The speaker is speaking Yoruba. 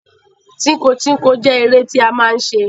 Tínko tínko jẹ́ eré tí a máa ń ṣe.